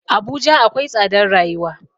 Abuja akwai tsadar rayuwa.